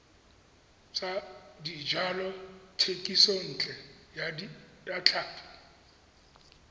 tsa dijalo thekisontle ya tlhapi